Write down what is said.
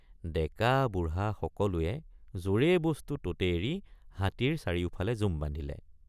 ডেকাবুঢ়া সকলোৱে যৰে বস্তু ততে এৰি হাতীৰ চাৰিওফালে জুম বান্ধিলে।